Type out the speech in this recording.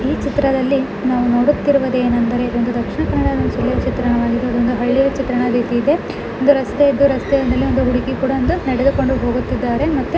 ಈ ಚಿತ್ರದಲ್ಲಿ ನಾವು ನೋಡುತ್ತಿರುವುದು ಏನೆಂದರೆ ಒಂದು ದಕ್ಷಿಣ ಕನ್ನಡ ಚಿತ್ರಣವನ್ನ ಒಂದು ಹಳ್ಳಿಯ ಚಿತ್ರಣ ರೀತಿ ಇದೆ ಒಂದು ರಸ್ತೆ ಇದೆ ರಸ್ತೆಯಾ ಮೇಲೆ ಒಂದು ಹುಡುಗಿ ಕೂಡಾ ಒಂದು ನಡೆದುಕೊಂಡು ಹೋಗುತ್ತಿದಾರೆ ಮತ್ತೆ --